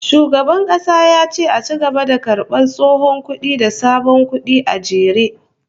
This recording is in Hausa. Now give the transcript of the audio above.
Shugaban kasa ya ce a ci gaba da karbar tsohon kudi da sabon kudi a jere